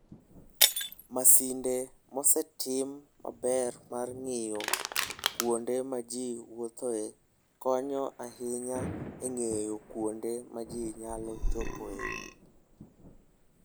Masinde mosetim maber mar ng'iyo kuonde ma ji wuothoe konyo ahinya e ng'eyo kuonde ma ji nyalo chopoe.